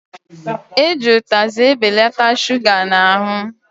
Eji utazị ebelata shuga n'ahụ